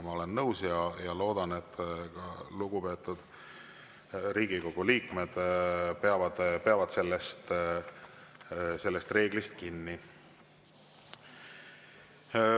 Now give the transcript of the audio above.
Ma olen nõus ja loodan, et ka lugupeetud Riigikogu liikmed peavad sellest reeglist kinni.